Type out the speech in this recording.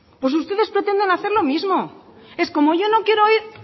pues ustedes pretenden hacer lo mismo es como yo no quiero ir